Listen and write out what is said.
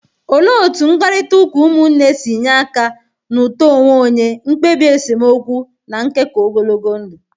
Olee otú mkparịta ụka ụmụnne si nye aka na uto onwe onye, mkpebi esemokwu, na nkekọ ogologo ndụ?